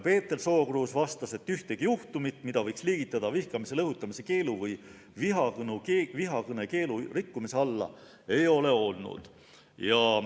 Peeter Sookruus vastas, et ühtegi juhtumit, mida võiks liigitada vihkamisele õhutamise keelu või vihakõne keelu rikkumise alla, ei ole olnud.